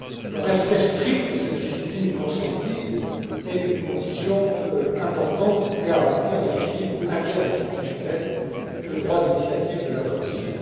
Le respect strict de cette discipline consentie est une condition importante pour garantir l'équilibre interinstitutionnel et le droit d'initiative de la Commission.